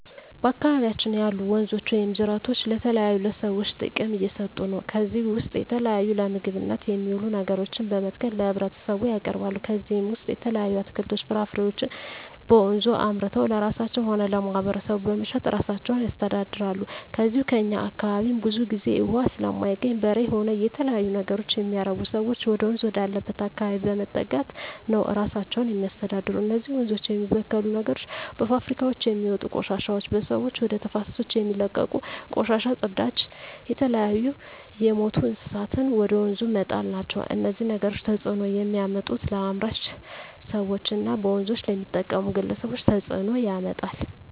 በአካባቢያችን ያሉ ወንዞች ወይም ጅረቶች ለተለያዩ ለሰዎች ጥቅም እየሠጡ ነው ከዚህ ውስጥ የተለያዩ ለምግብነት የሚውሉ ነገሮችን በመትከል ለህብረተሰቡ ያቀርባሉ ከነዚህም ውሰጥ የተለያዩ አትክልቶች ፍራፍሬዎችን በወንዙ አምርተው ለራሳቸው ሆነ ለማህበረሰቡ በመሸጥ እራሳቸውን ያስተዳድራሉ ከዚው ከእኛ አካባቢም ብዙ ግዜ እውሃ ስለማይገኝ በሬ ሆነ የተለያዩ ነገሮች የሚያረቡ ሰዎች ወደወንዝ ወዳለበት አካባቢ በመጠጋት ነው እራሳቸውን የሚያስተዳድሩ እነዚህ ወንዞች የሚበክሉ ነገሮች በፋብሪካውች የሚወጡ ቆሻሾች በሰዎች ወደ ተፋሰሶች የሚለቀቁ ቆሻሻ ጽዳጅ የተለያዩ የምቱ እንስሳትን ወደ ወንዙ መጣል ናቸው እነዚህ ነገሮች ተጽዕኖ የሚያመጡት ለአምራች ሰዎች እና በወንዞች ለሚጠቀሙ ግለሰቦች ተጽእኖ ያመጣል